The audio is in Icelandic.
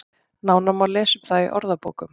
Nánar má lesa um það í orðabókum.